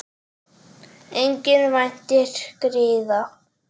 Enginn væntir griða.